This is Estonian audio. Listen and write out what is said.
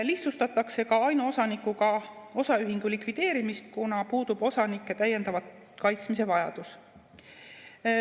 Lihtsustatakse ka ainuosanikuga osaühingu likvideerimist, kuna puudub osanike täiendava kaitsmise vajadus.